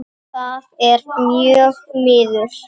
Það er mjög miður.